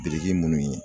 Biriki munnu ye